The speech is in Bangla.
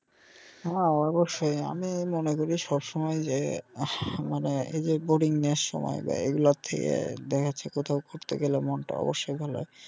হ্যা অবশ্যই আমি মনে করি সব সময় যে আহ মানে এই যে boringness সময় যায় এগুলার থেকে দেখা যাচ্ছে কোথাও ঘুরতে গেলে মন টা অবশ্যই ভালো.